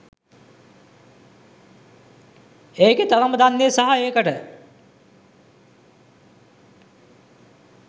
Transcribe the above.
ඒකෙ තරම දන්නෙ සහ ඒකට